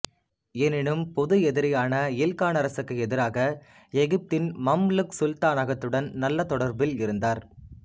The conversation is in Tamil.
எனினும் பொது எதிரியான ஈல்கானரசுக்கு எதிராக எகிப்தின் மம்லுக் சுல்தானகத்துடன் நல்ல தொடர்பில் இருந்தார்